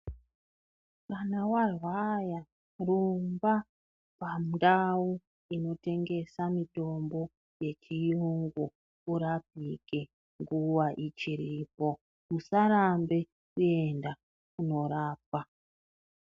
Kana wa rwara rumba pandau inotengesa mitombo ye chiyungu urapike nguva ichiripo usarambe kuenda kuno rapwa.